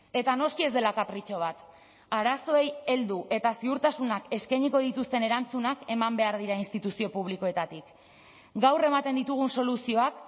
eta noski ez dela kapritxo bat arazoei heldu eta ziurtasunak eskainiko dituzten erantzunak eman behar dira instituzio publikoetatik gaur ematen ditugun soluzioak